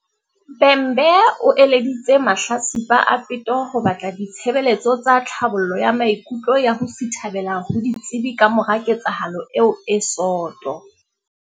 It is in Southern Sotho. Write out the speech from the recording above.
Bhembe o eleditse mahlatsipa a peto ho batla di-tshebeletso tsa tlhabollo ya maikutlo ya ho sithabela ho ditsebi kamora ketsahalo eo e soto.